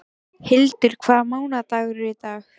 Hildur, hvaða mánaðardagur er í dag?